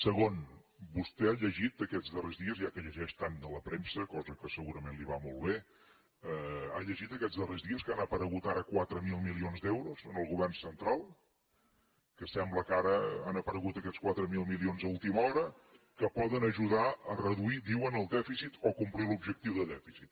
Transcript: segon vostè ha llegit aquests darrers dies ja que llegeix tant la premsa cosa que segurament li va molt bé que han aparegut ara quatre mil milions d’euros en el govern central que sembla que ara han aparegut aquests quatre mil milions a última hora que poden ajudar a reduir diuen el dèficit o a complir l’objectiu de dèficit